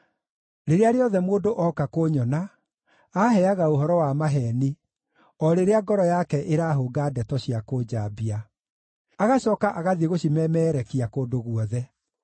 Rĩrĩa rĩothe mũndũ ooka kũnyona, aaheaga ũhoro wa maheeni, o rĩrĩa ngoro yake ĩrahũnga ndeto cia kũnjambia; agacooka agathiĩ gũcimemeerekia kũndũ guothe.